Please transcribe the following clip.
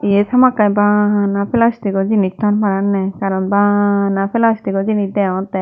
iyet hamakkai bana plastic o jinis ton paranney karon bana plastic o jinis degongottey.